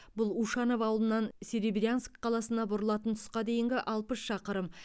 бұл ушанов ауылынан серебрянск қаласына бұрылатын тұсқа дейінгі алпыс шақырым